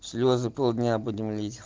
слезы полдня будем лить